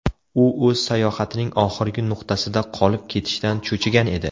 U o‘z sayohatining oxirgi nuqtasida qolib ketishdan cho‘chigan edi”.